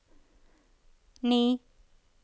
ni